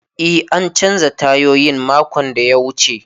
E, an canza tayoyin makon da ya wuce.